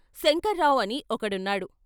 శంకర్రావు అని ఒకడున్నాడు.